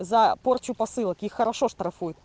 за порчу посылок их хорошо штрафуют